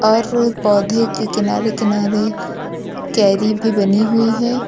हर पौधे के किनारे किनारे क्यारी भी बनी हुई है।